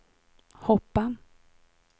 hoppa